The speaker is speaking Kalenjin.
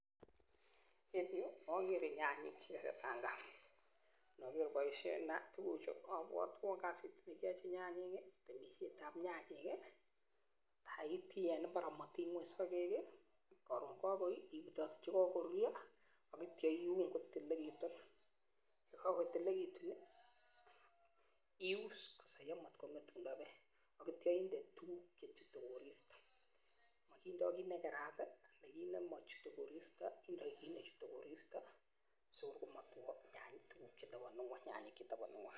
En yuu okere nyanyik chekakipangan, noker boishetab tukuchu kobwotwon kasit nekiyochi nyanyik kii temishetab nyanyik kii ak itii en imbar omotiny ngweny sokek kii koron kokoi ibutote chekokoruryo ak ityo iun kotililekitun yekokotililekitun nii ius kosoyo motkongetundo beek ak ityo inde tukuk chechute koristo mokindo kit nekerat tii nekit nemochute koristo indoi kit nechute koristo sikor komotwo nyanyik tukuk chetononu ngweny, nyanyik chetononu ngweny.